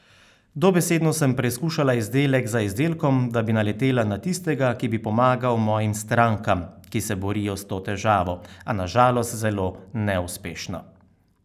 Dobesedno sem preizkušala izdelek za izdelkom, da bi naletela na tistega, ki bi pomagal mojim strankam, ki se borijo s to težavo, a na žalost zelo neuspešno.